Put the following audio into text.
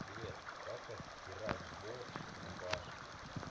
привет как отстирать борщ с рубашки